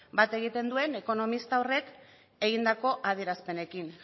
bat egiten duen ekonomista horrek egindako adierazpenekin